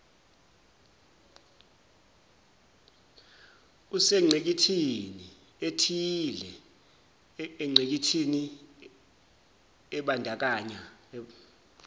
usengqikithnii ethileingqikithi ibandakanya